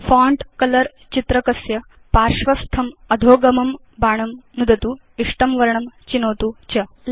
font colour चित्रकस्य पार्श्वस्थम् अधोगमं बाणं नुदतु इष्टं वर्णं चिनोतु च